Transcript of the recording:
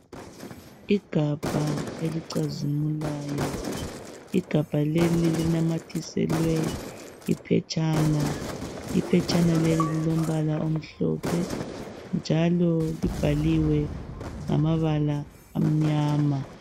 Igabha elicazimulayo, igabha leli linamathiselwe iphetshana. Iphetshana leli lilombala omhlophe njalo libhaliwe ngamabala amnyama.